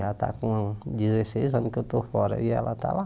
Ela está com dezesseis anos que eu estou fora e ela está lá.